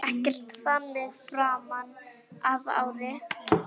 Ekkert þannig framan af ári.